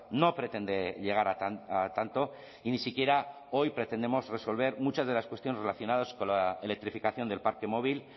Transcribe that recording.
no pretende llegar a tanto y ni siquiera hoy pretendemos resolver muchas de las cuestiones relacionados con la electrificación del parque móvil